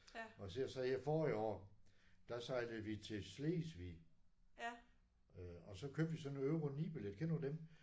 Og ser du så her forrige år der sejlede vi til Slesvig. Og så købte vi sådan en euro 9 billet kender du dem?